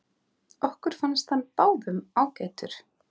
Okkur fannst hann báðum ágætur.